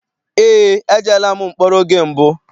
Eé, ejeela m mkpọrọ oge mbụ.